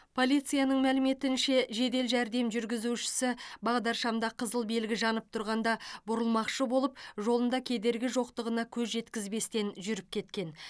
полицияның мәліметінше жедел жәрдем жүргізушісі бағдаршамда қызыл белгі жанып тұрғанда бұрылмақшы болып жолында кедергі жоқтығына көз жеткізбестен жүріп кеткен